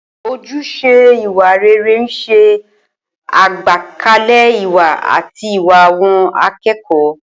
Ojúṣe ìwà rere ń ṣe àgbékalẹ̀ ìwà àti ìwà àwọn akẹ́kọ̀ọ́.